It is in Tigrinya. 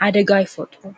ሓደጋ ኣይፈጡሩን።